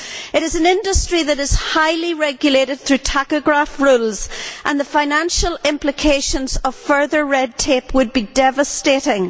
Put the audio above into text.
It is an industry that is highly regulated through tachograph rules, and the financial implications of further red tape would be devastating.